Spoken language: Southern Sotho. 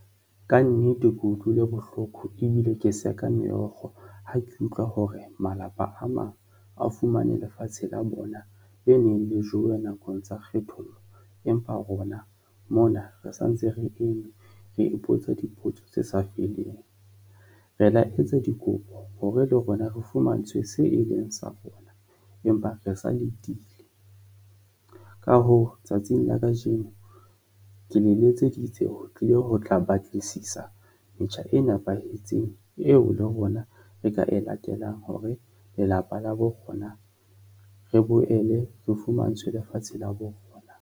Ka nnete ke utlwile bohloko ebile ke seka meokgo ha ke utlwa hore malapa a mang a fumane lefatshe la bona le neng le jowe nakong tsa kgethollo, empa rona mona re sa ntse re eme, re ipotsa dipotso tse sa feleng. Re la etsa dikopo hore le rona re fumantshwe se e leng sa rona, empa re sa letile. Ka hoo, tsatsing la kajeno ke le letseditse ho tlile ho tla batlisisa metjha e nepahetseng eo le rona re ka e latelang hore lelapa la borona re boele re fumantshwe lefatshe la borona.